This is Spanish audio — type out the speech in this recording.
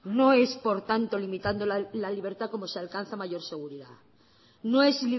no es por tanto limitando la libertad como se alcanza mayor seguridad no es